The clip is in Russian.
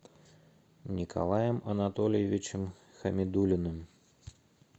николаем анатольевичем хамидуллиным